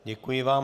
Děkuji vám.